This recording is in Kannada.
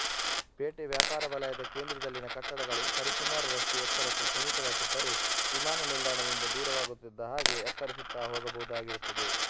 ಪೇಟೆವ್ಯಾಪಾರವಲಯದ ಕೇಂದ್ರದಲ್ಲಿನ ಕಟ್ಟಡಗಳು ಸರಿಸುಮಾರು ರಷ್ಟು ಎತ್ತರಕ್ಕೆ ಸೀಮಿತವಾಗಿದ್ದರೆ ವಿಮಾನನಿಲ್ದಾಣದಿಂದ ದೂರವಾಗುತ್ತಿದ್ದ ಹಾಗೆ ಎತ್ತರಿಸುತ್ತಾ ಹೋಗಬಹುದಾಗಿರುತ್ತದೆ